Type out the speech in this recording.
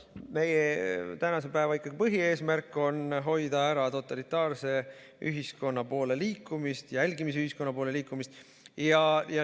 Meie tänase päeva põhieesmärk on hoida ära totalitaarse ühiskonna poole liikumist, jälgimisühiskonna poole liikumist.